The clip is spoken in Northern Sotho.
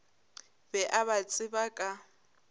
be a ba tseba ka